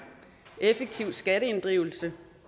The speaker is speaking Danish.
effektiv skatteinddrivelse